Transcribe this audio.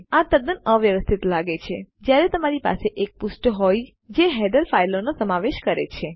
આ તદ્દન અવ્યવસ્થિત લાગે છે જયારે તમારી પાસે એક પુષ્ઠ હોય જે હેડર ફાઈલનો સમાવેશ કરે છે